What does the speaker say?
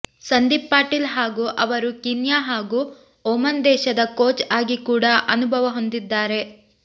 ಸಂದೀಪ್ ಪಾಟೀಲ್ ಅವರು ಕೀನ್ಯಾ ಹಾಗೂ ಒಮನ್ ದೇಶದ ಕೋಚ್ ಆಗಿ ಕೂಡಾ ಅನುಬವ ಹೊಂದಿದ್ದಾರೆ